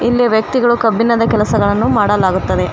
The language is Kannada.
ಇಲ್ಲಿಯ ವ್ಯಕ್ತಿಗಳು ಕಬ್ಬಿಣದ ಕೆಲಸಗಳನ್ನು ಮಾಡಲಾಗುತ್ತದೆ.